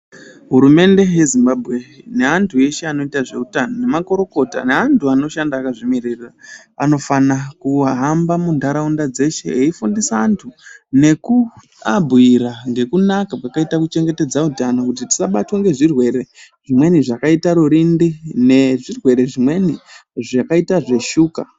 Hurumende yeZimbabwe, neantu eshe anoita zveutano, nemakorokota, neantu anoshanda akazvimiririra, anofana kuhamba muntaraunda dzeshe eifundisa antu nekuabhuyira ngekunaka kwakaita kuchengetedza utano kuti tisabatwa ngezvirwere zvimweni zvakaita rurindi, nezvirwere zvimweni zvakaita zveshuka.